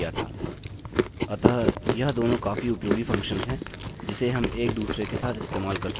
अतः यह दोनों काफी उपयोगी फंक्शंस हैं जिसे हम एक दूसरे के साथ इस्तेमाल कर सकते हैं